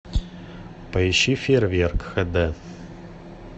поищи фейерверк хд